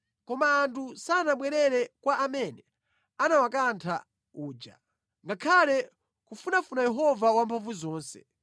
Koma anthu sanabwerere kwa amene anawakantha uja, ngakhale kufunafuna Yehova Wamphamvuzonse.